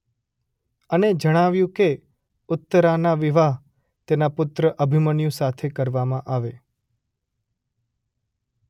અને જણાવ્યું કે ઉત્તરાના વિવાહ તેના પુત્ર અભિમન્યુ સાથે કરવામાં આવે.